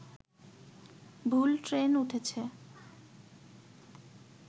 ভুল ট্রেন উঠেছে